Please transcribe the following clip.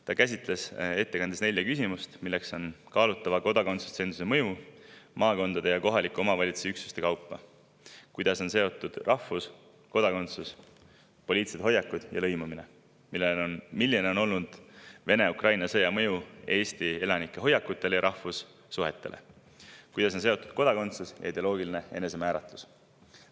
Ta käsitles ettekandes nelja küsimust: kaalutava kodakondsustsensuse mõju maakondade ja kohaliku omavalitsuse üksuste kaupa; kuidas on seotud rahvus, kodakondsus, poliitilised hoiakud ja lõimumine; milline on olnud Vene-Ukraina sõja mõju Eesti elanike hoiakutele ja rahvussuhetele; kuidas on seotud kodakondsus ja ideoloogiline enesemääratlus.